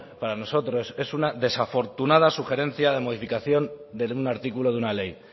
para nosotros es una desafortunada sugerencia de modificación de un artículo de una ley